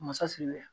Masa sigi la